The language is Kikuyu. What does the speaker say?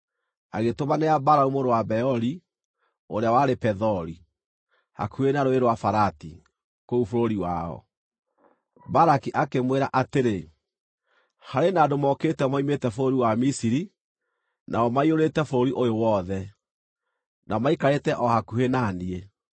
agĩtũmanĩra Balamu mũrũ wa Beori, ũrĩa warĩ Pethori, hakuhĩ na Rũũĩ rwa Farati, kũu bũrũri wao. Balaki akĩmwĩra atĩrĩ: “Harĩ na andũ mokĩte moimĩte bũrũri wa Misiri; nao maiyũrĩte bũrũri ũyũ wothe, na maikarĩte o hakuhĩ na niĩ.